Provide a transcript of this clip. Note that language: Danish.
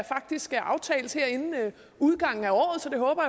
faktisk skal aftales her inden udgangen af året så det håber